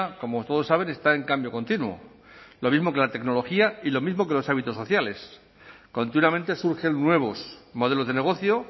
como todos saben está en cambio continuo lo mismo que la tecnología y lo mismo que los hábitos sociales continuamente surgen nuevos modelos de negocio